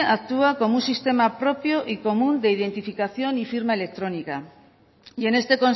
actúa como un sistema propio y común de identificación y firma electrónica y en este